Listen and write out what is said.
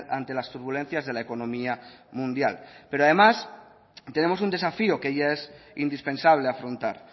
ante las turbulencias de la economía mundial pero además tenemos un desafío que ya es indispensable afrontar